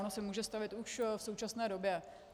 Ono se může stavět už v současné době.